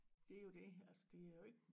Det er jo det altså det er jo ikke